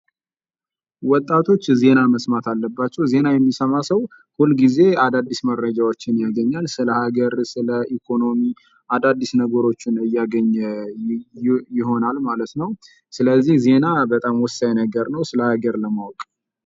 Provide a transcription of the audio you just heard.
ወጣቶች ዜና መስማት አለባቸው። ዜና የሚሰማ ሰው ሁልጊዜ አዳዲስ መረጃዎችን ያገኛል ስለሀገር ስለ ኢኮኖሚ አዳዲስ ነገሮችን እያገኘ ይሆናል ማለት ነው። ስለዚህ ዜና በጣም ወሳኝ ነገር ነው ስለ ሀገር ለማወቅ።